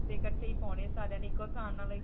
ਤੇ ਇਕੱਠੇ ਹੀ ਪਾਉਣੇ ਸਾਰੀਆਂ ਨੇ ਇੱਕੋ .